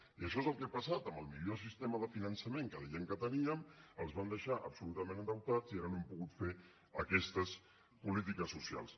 i això és el que ha passat amb el millor sistema de finançament que deien que teníem els van deixar absolutament endeutats i ara no hem pogut fer aquestes polítiques socials